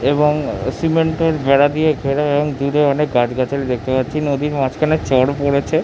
এবং সিমেন্টের বেড়া দিয়ে ঘেরা এবং দূরে অনেক গাছগাছালি দেখতে পাচ্ছি নদীর মাঝখানে চর পড়েছে ।